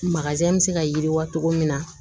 bɛ se ka yiriwa cogo min na